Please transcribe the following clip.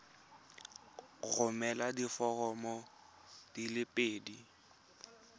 romela diforomo di le pedi